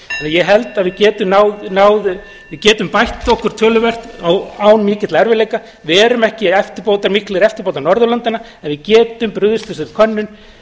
ég held að við getum bætt okkur töluvert án mikilla erfiðleika við erum ekki miklir eftirbátar norðurlandanna en við getum brugðist við þessari könnun